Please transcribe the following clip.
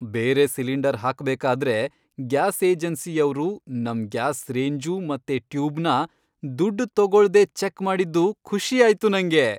ಬೇರೆ ಸಿಲಿಂಡರ್ ಹಾಕ್ಬೇಕಾದ್ರೆ ಗ್ಯಾಸ್ ಏಜೆನ್ಸಿಯವ್ರು ನಮ್ ಗ್ಯಾಸ್ ರೇಂಜು ಮತ್ತೆ ಟ್ಯೂಬ್ನ ದುಡ್ಡ್ ತೊಗೊಳ್ದೇ ಚೆಕ್ ಮಾಡಿದ್ದು ಖುಷಿ ಆಯ್ತು ನಂಗೆ.